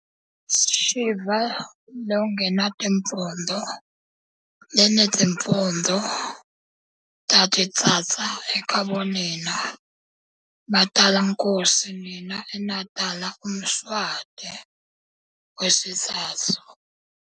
Shiva longenatimphondvo, lenetimphondvo tatitsatsa ekhabonina matalankosi nina enatala uMswati wesitsatsu-